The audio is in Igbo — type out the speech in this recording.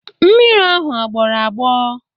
Mmiri ahụ agbọrọ agbọ?